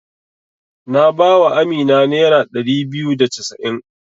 Na ba wa Amina nera ɗari biyu da casa'in.